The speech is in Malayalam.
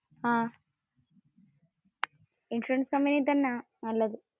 അഹ്. ഇൻഷുറൻസ് കമ്പനിയിൽ തന്ന നല്ലതു.